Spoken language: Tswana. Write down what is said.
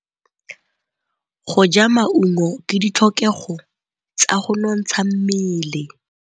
Go ja maungo ke ditlhokegô tsa go nontsha mmele.